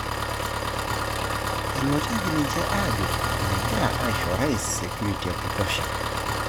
Enotieki ninche ajo megita aisho Orais security ekutosha.